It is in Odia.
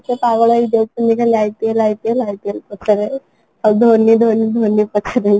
ସେ ପାଗଳ ହୋଇଯାଉଛନ୍ତି ହେଲା IPL, IPL ,IPL ପଛରେ ଆଉ ଧୋନି ଧୋନି ଧୋନି ପଛରେ ଲାଗିଯାଇଛନ୍ତି